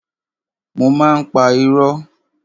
Mo má ń pa irọ́.